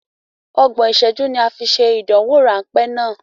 Ọgbọ̀n ìṣẹ́jú ni a fi ṣe ìdánwò ráńpé náà.